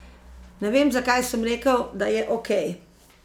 Ne vem, zakaj sem rekel, da je okej.